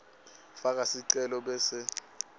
faka sicelo bese